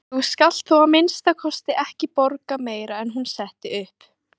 Þú skalt þó að minnsta kosti ekki borga meira en hún setti upp.